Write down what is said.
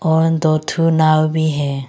और दो ठो नाव भी है।